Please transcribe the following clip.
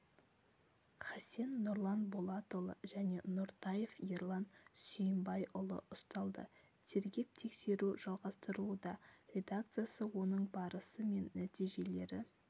хасен нұрлан болатұлы және нұртаев ерлан сүйімбайұлы ұсталды тергеп-тексеру жалғастырылуда редакциясы оның барысы мен нәтижелері